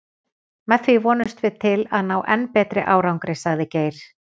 Með því vonumst við til að ná enn betri árangri, sagði Geir.